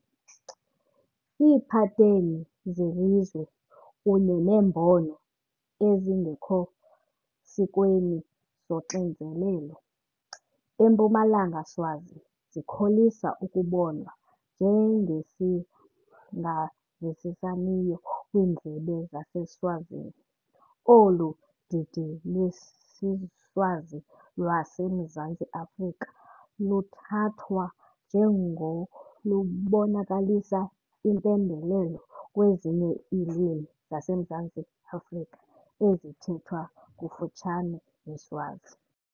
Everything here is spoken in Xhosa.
Iipateni zelizwi, kunye neembono ezingekho sikweni 'zoxinzelelo', eMpumalanga Swazi zikholisa ukubonwa njengezingavisisaniyo kwindlebe yaseSwazini. Olu didi lwesiSwazi lwaseMzantsi Afrika luthathwa njengolubonakalisa impembelelo kwezinye iilwimi zaseMzantsi Afrika ezithethwa kufutshane neSwazi.